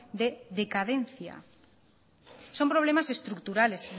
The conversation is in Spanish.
de decadencia son problemas estructurales